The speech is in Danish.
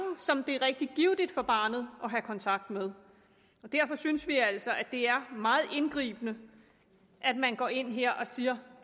som det er rigtig givtigt for barnet at have kontakt med derfor synes vi altså at det er meget indgribende at man går ind her og siger